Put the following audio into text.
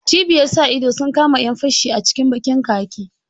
Cibiyar sa ido sun kama ƴan fashi a cikin ɓakin khaki.